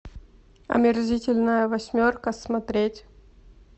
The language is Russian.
омерзительная восьмерка смотреть